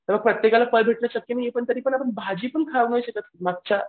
तर प्रत्येकाला फळ भेटणं शक्य नाहीये पण आता भाजी पण खाऊ नाही शकत मागच्या